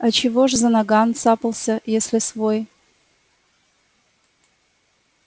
а чего ж за наган цапался если свой